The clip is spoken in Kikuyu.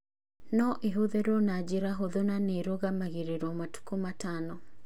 No ĩhũthĩrũo na njĩra hũthũ na nĩ ĩrũgamagĩrĩrũo matukũ matano.